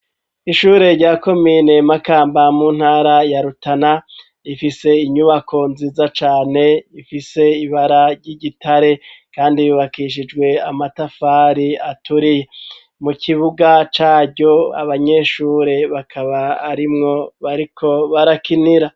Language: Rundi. Ishure rya ko mine makamba muntara yarutana rifise inyubako nziza cane ifise ibara ry'igitare, kandi bibakishijwe amatafari aturiye mu kibuga caryo abanyeshure bakaba arimwo bariko barakinira.